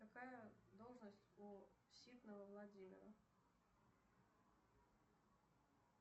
какая должность у ситного владимира